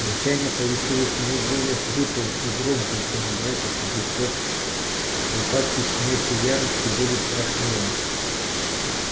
рычание получалось у него более хриплым и громким чем у братьев и сестёр припадки щенячьей ярости были страшнее